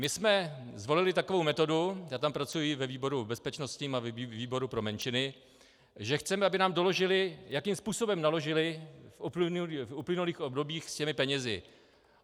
My jsme zvolili takovou metodu, já tam pracuji ve výboru bezpečnostním a výboru pro menšiny, že chceme, aby nám doložili, jakým způsobem naložili v uplynulých obdobích s těmi penězi.